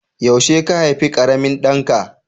Yaushe ka haifi ƙaramin ɗanka?